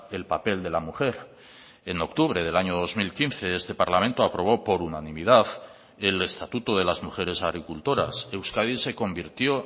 el papel de la mujer en octubre del año dos mil quince este parlamento aprobó por unanimidad el estatuto de las mujeres agricultoras euskadi se convirtió